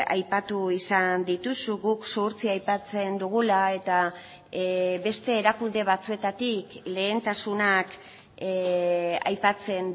aipatu izan dituzu guk zuhurtzia aipatzen dugula eta beste erakunde batzuetatik lehentasunak aipatzen